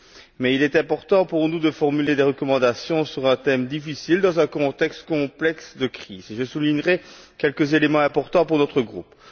Mais il est important pour nous de formuler des recommandations sur un thème difficile dans un contexte complexe de crise, et je soulignerai quelques éléments importants pour notre groupe.